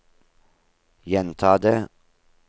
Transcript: gjenta det